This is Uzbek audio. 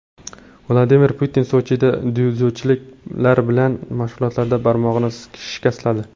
Vladimir Putin Sochida dzyudochilar bilan mashg‘ulotlarda barmog‘ini shikastladi.